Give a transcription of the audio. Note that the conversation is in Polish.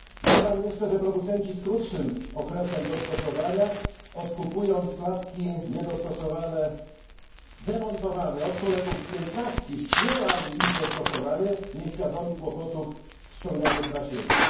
Dodam jeszcze, że producenci z krótszym okresem dostosowania odkupując klatki niedostosowane, wymontowane od kolegów z 15 tki wspierali ich dostosowanie, nieświadomi kłopotów ściąganych na siebie.